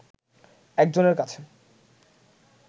একজনের কাছে